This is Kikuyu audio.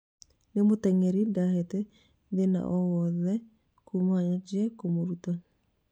Nĩ mũteng'eri ndahete thĩna owothe Kuma nyanjie kũmũruta